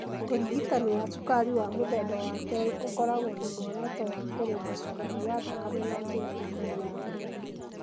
Ũrigitani wa cukari wa mũthemba wa kerĩ ũkoragwo na muoroto wa kũrũnga cukari wa thakame na njĩra ĩtarĩ njũru.